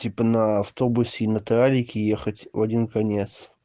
типа на автобусе и на троллейбусе ехать в один конец